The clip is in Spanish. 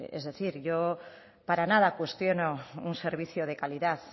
es decir yo para nada cuestiono un servicio de calidad